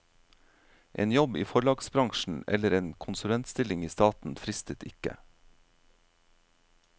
En jobb i forlagsbransjen eller en konsulentstilling i staten fristet ikke.